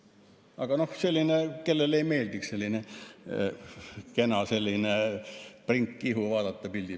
Aga noh, kellele ei meeldiks vaadata sellist kena prinki ihu värvilisel pildil.